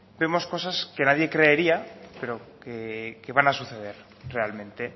vemos cosas que nadie creería pero que van a suceder realmente